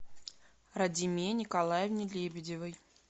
радиме николаевне лебедевой